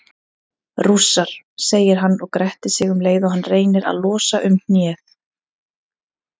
Rússar, segir hann og grettir sig um leið og hann reynir að losa um hnéð.